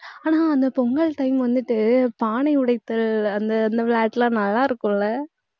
ஆனா, அந்த பொங்கல் time வந்துட்டு, பானை உடைத்தல், அந்த, அந்த விளையாட்டு எல்லாம் நல்லா இருக்கும் இல்ல